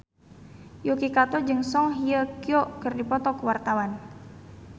Yuki Kato jeung Song Hye Kyo keur dipoto ku wartawan